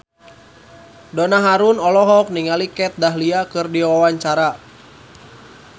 Donna Harun olohok ningali Kat Dahlia keur diwawancara